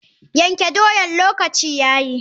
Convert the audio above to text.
Yanke dam lokaci yayi.